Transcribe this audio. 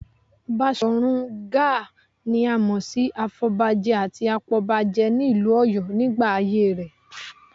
Baṣọ̀run Gáà ni a mọ̀ sí afọ̀bajẹ àti apọbajẹ nílùú Ọ̀yọ́ nígbà ayé rẹ